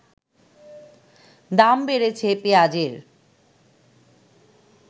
দাম বেড়েছে পেঁয়াজের